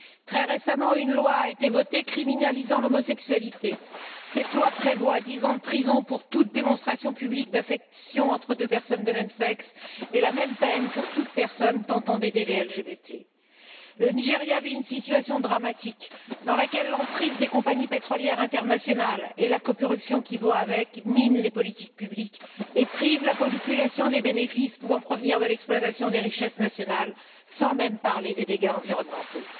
Très récemment, une loi a été votée criminalisant l'homosexualité. Cette loi prévoit dix ans de prison pour toute démonstration publique d'affection entre deux personnes de même sexe et la même peine pour toute personne tentant d'aider les LGBT. Le Nigeria vit une situation dramatique, dans laquelle l'emprise des compagnies pétrolières internationales et la corruption qui va avec minent les politiques publiques et privent la population des bénéfices pouvant provenir de l'exploitation des richesses nationales, sans même parler des dégâts environnementaux.